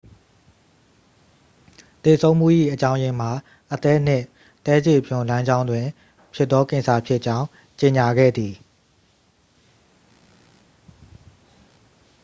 သေဆုံးမှု၏ အကြောင်းရင်းမှာ အသည်းနှင့်သည်းခြေပြွန်လမ်းကြောင်းတွင်ဖြစ်သောကင်ဆာဖြစ်ကြောင်း ကြေညာခဲ့သည်